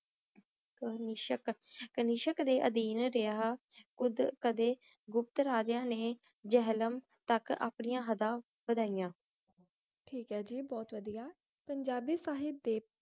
ਕਨਿਸ਼੍ਕ ਦੇ ਅਧੀਨ ਰਹ੍ਯ ਉੜ ਆਦੀ ਗੁਪਤ ਰਾਜ੍ਯਾਂ ਨੇ ਝਲਮ ਤਕ ਅਪ੍ਨਿਯਾਂ ਹੜਾਂ ਵਾਦਿਯਾਂ ਠੀਕ ਆਯ ਜੀ ਬੋਹਤ ਵਾਦਿਯ ਪੰਜਾਬੀ ਸਾਹਿਬ ਦੇ